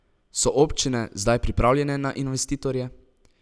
So občine zdaj pripravljene na investitorje?